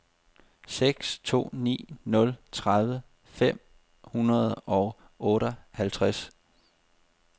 seks to ni nul tredive fem hundrede og otteoghalvtreds